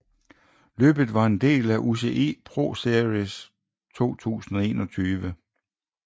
Løbet var en del af UCI ProSeries 2021